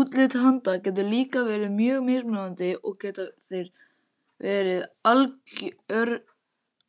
Útlit hunda getur líka verið mjög mismunandi og geta þeir verið